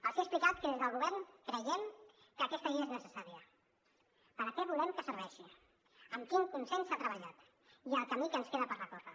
els he explicat que des del govern creiem que aquesta llei és necessària per a què volem que serveixi amb quin consens s’ha treballat i el camí que ens queda per recórrer